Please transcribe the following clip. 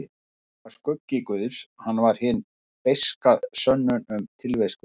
Hann var skuggi guðs, hann var hin beiska sönnun um tilvist guðs.